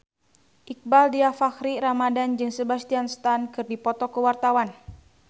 Iqbaal Dhiafakhri Ramadhan jeung Sebastian Stan keur dipoto ku wartawan